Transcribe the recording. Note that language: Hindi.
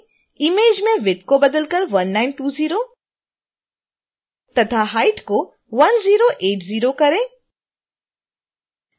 image में width को बदल कर 1920 तथा height को 1080 करें